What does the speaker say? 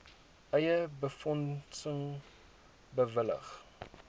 eie befondsing bewillig